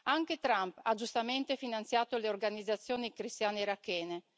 Anche Trump ha giustamente finanziato le organizzazioni cristiane irachene.